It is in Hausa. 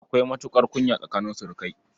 Akwai matuƙar kunya tsakanin surukai.